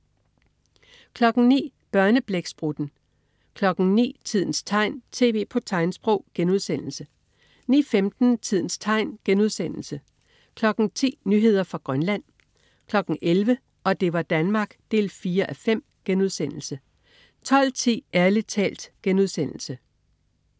09.00 Børneblæksprutten 09.00 Tidens tegn. TV på tegnsprog* 09.15 Tidens tegn* 10.00 Nyheder fra Grønland 11.00 Og det var Danmark 4:5* 12.10 Ærlig talt*